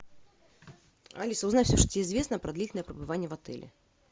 алиса узнай все что тебе известно про длительное пребывание в отеле